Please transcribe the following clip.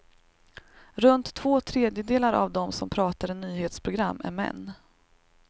Runt två tredjedelar av dem som pratar i nyhetsprogram är män.